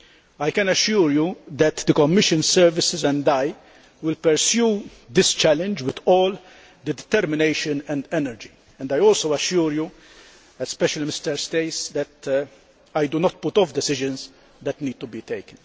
I can assure you that the Commission services and I will pursue this challenge with all determination and energy, and I also assure you, especially Mr Staes, that I do not put off decisions that need to be taken.